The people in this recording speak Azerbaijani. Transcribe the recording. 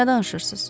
Nə danışırsız?